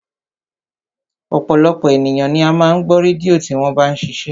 Ọ̀pọ̀lọpọ̀ ènìyàn ni ó máa ń gbọ́ rédíò tí wọ́n bá ń ṣiṣẹ́